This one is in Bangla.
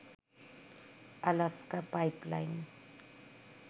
Alaska pipeline